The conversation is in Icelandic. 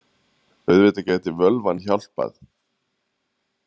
Auðvitað gæti völvan hjálpað.